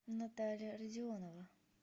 наталья родионова